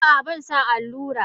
A'a banson allura.